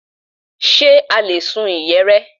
Ṣe a lè sun ìyẹ̀rẹ̀?